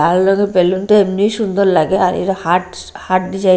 লাল রঙের বেলুন -টা এমনি সুন্দর লাগে আর এরা হাটস হার্ট ডিজাইন --